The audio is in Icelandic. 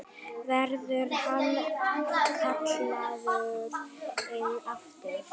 Verður hann kallaður inn aftur?